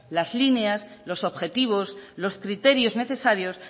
las líneas los objetivos los criterios necesarios